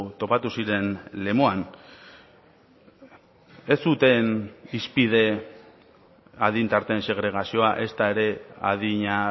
topatu ziren lemoan ez zuten hizpide adin tarteen segregazioa ezta ere adina